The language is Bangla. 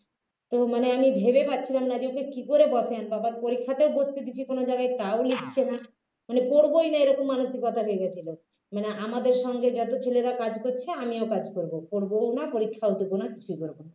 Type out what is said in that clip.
তো মানে আমি ভেবে পাচ্ছিলাম না যে ওকে কী করে বশে আনব আবার পরীক্ষাতেও বসতে দিচ্ছি কোনও জায়গায় তাও লিখছে না মানে পড়বোই না এরকম মানসিকতা হয়ে গেছিলো মানে আমাদের সঙ্গে যত ছেলেরা কাজ করেছে আমিও কাজ করব পড়বোও না পরীক্ষাও দেবোনা কিছুই করব না